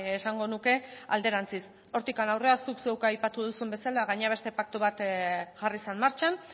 esango nuke alderantziz hortik aurrera zuk zeuk aipatu duzun bezala gainera beste paktu bat jarri zen martxan